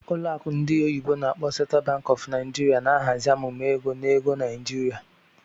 Ụlọ akụ ndị oyibo n'akpọ "Central Bank of Nigeria na-ahazi amụma ego na ego Naijiria.